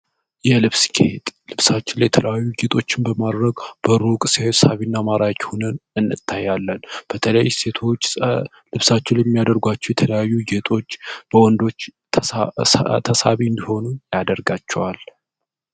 የልብስ ኬሄጥ ልብሳችው ላይ የተለዩ ጌጦችን በማድረግ በሩቅ ሲየሳቢ እና ማራክ ሁንን እነታያለን በተለይስ ሴቶዎች ልብሳቸው የሚያደርጓቸው የተለዩ ግጦች በወንዶች ተሳቢ እንዲሆኑ ያደርጋቸዋል